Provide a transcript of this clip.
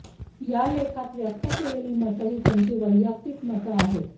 या लेखात व्यक्त केलेली मतं ही त्यांची वैयक्तिक मतं आहेत